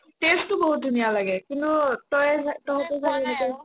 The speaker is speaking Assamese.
taste তো বহুত ধুনীয়া লাগে কিন্তু